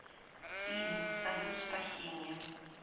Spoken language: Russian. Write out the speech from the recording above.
фильм союз спасения